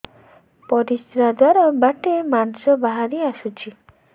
ପରିଶ୍ରା ଦ୍ୱାର ବାଟେ ମାଂସ ବାହାରି ଆସୁଛି